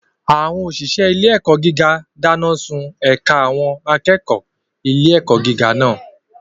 Àwọn òṣìṣẹ́ ilé-ẹ̀kọ́ gíga dáná sun ẹ̀ka àwọn akẹ́kọ̀ọ́ ilé-ẹ̀kọ́ gíga náà.